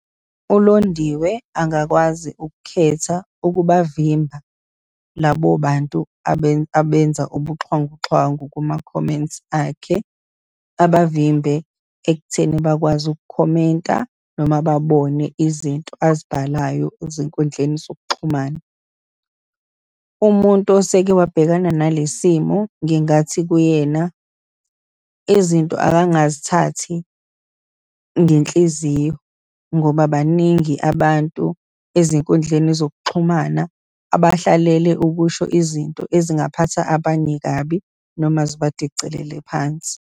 ULondiwe angakwazi ukukhetha ukubavimba labo bantu abenza ubuxhwanguxhwangu kuma-comments akhe. Abavimbe ekutheni bakwazi ukukhomenta noma babone izinto azibhalayo ezinkundleni zokuxhumana. Umuntu oseke wabhekana nale simo ngingathi kuyena, izinto akangazithathi ngenhliziyo, ngoba baningi abantu ezinkundleni zokuxhumana, abahlelele ukusho izinto ezingaphatha abanye kabi noma zibadicilele phansi.